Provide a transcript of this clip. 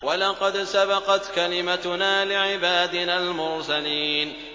وَلَقَدْ سَبَقَتْ كَلِمَتُنَا لِعِبَادِنَا الْمُرْسَلِينَ